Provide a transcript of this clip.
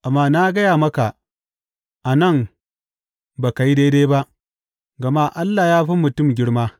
Amma na gaya maka, a nan ba ka yi daidai ba, gama Allah ya fi mutum girma.